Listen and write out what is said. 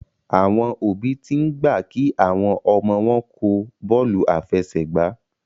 Àwọn òbí t'in gbà kí àwọn ọmọ wón kò Bọ́ọ̀lù àfẹsẹ̀gbá